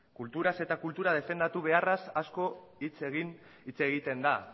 kulturaz eta kultura defendatu beharraz asko hitz egin hitz egiten da